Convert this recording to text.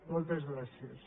moltes gràcies